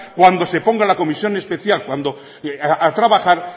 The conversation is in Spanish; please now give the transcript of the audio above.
cuando se ponga la comisión especial a trabajar